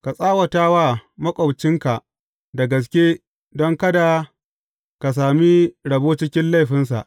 Ka tsawata wa maƙwabcinka da gaske don kada ka sami rabo cikin laifinsa.